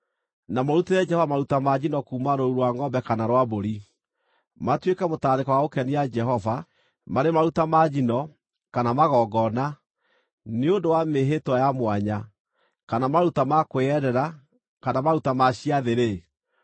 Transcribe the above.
na mũrutĩre Jehova maruta ma njino kuuma rũũru rwa ngʼombe kana rwa mbũri, matuĩke mũtararĩko wa gũkenia Jehova, marĩ maruta ma njino, kana magongona, nĩ ũndũ wa mĩĩhĩtwa ya mwanya, kana maruta ma kwĩyendera kana maruta ma ciathĩ-rĩ,